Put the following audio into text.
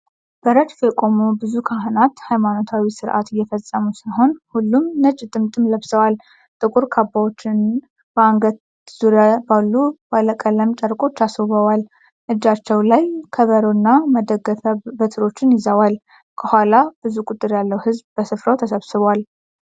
በረድፍ የቆሙ ብዙ ካህናት ሃይማኖታዊ ሥርዓት እየፈጽሙ ሲሆን ሁሉም ነጭ ጥምጥም ለብሰዋል። ጥቁር ካባዎቻቸውን በአንገት ዙሪያ ባሉ ባለቀለም ጨርቆች አስውበዋል። እጃቸው ላይ ከበሮና መደገፊያ በትሮች ይዘዋል። ከኋላ ብዙ ቁጥር ያለው ሕዝብ በሥፍራው ተሰብስቧል።